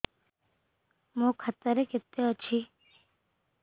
ମୋ ଖାତା ରେ କେତେ ଅଛି